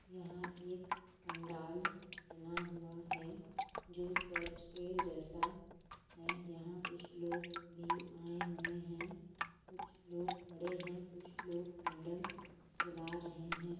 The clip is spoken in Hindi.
यहाँ एक पंडाल बना हुआ है जो चर्च के जैसा है यहाँ कुछ लोग भी आए हुए है कुछ लोग खड़े है कुछ लोग कैंडल जला रहे है।